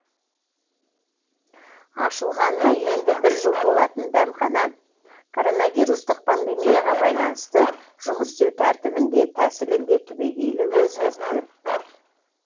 ашылғанына енді бір жыл толатын дәмхана коронавирустық пандемияға байланысты жұмыс істеу тәртібін де тәсілін де түбегейлі өзгертті